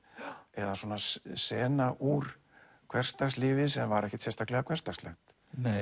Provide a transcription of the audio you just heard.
eða sena úr hversdagslífi sem var ekkert sérstaklega hversdagslegt